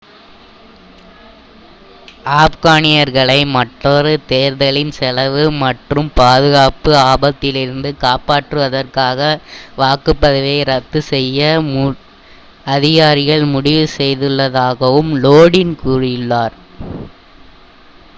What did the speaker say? ஆப்கானியர்களை மற்றொரு தேர்தலின் செலவு மற்றும் மற்றும் பாதுகாப்பு ஆபத்திலிருந்து காப்பாற்றுவதற்காக வாக்குப்பதிவை ரத்து செய்ய அதிகாரிகள் முடிவு செய்துள்ளதாகவும் லோடின் கூறினார்